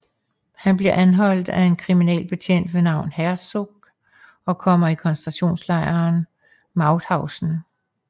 Han bliver anholdt af en kriminalbetjent ved navn Herzog og kommer i koncentrationslejren Mauthausen